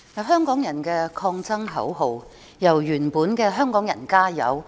香港人的抗爭口號由原來的"香港人，加油！